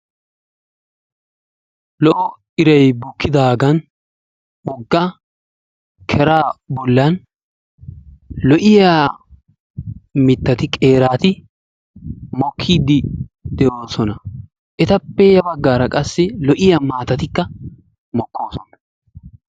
Lo''o iray bukidaagan wogga kera bollan lo''iya mittati qeerati mokkide de'oosona, etappe ya baggara qassi lo''iyaa maatatikka mokkosoona.